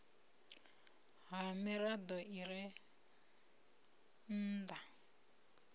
ha mirado i re nnda